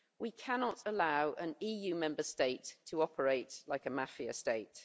We cannot allow an EU Member State to operate like a mafia state.